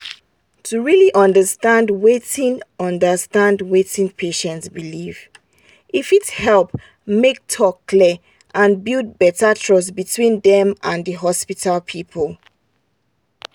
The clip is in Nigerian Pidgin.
to really understand wetin understand wetin patient believe e fit help make talk clear and build better trust between dem and the hospital people.